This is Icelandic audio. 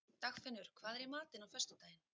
Dagfinnur, hvað er í matinn á föstudaginn?